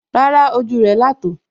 Rárá, ojú rẹ̀ là tò ó